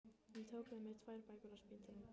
Ég tók með mér tvær bækur á spítalann